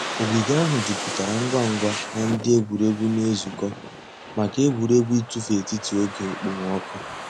Ògìgè àhụ̀ jùpùtárà ngwá ngwá nà ńdí ègwè́ré́gwụ̀ nà-èzùkọ̀ mǎká ègwè́ré́gwụ̀ ị̀tụ̀fụ̀ ètítì ògè òkpòmọ́kụ̀.